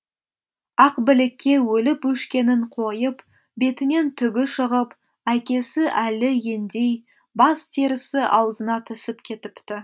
ақбілікке өліп өшкенін қойып бетінен түгі шығып әкесі әлі ендей бас терісі аузына түсіп кетіпті